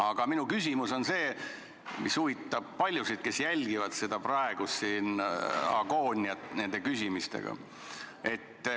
Aga minu küsimus on see, mis huvitab paljusid, kes jälgivad seda praegust agooniat nende küsimuste puhul.